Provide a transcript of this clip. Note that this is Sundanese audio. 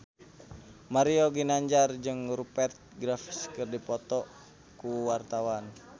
Mario Ginanjar jeung Rupert Graves keur dipoto ku wartawan